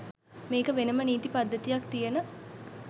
මේක වෙනම නීති පද්ධතියක් තියන